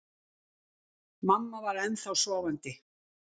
Mamma var ennþá sofandi.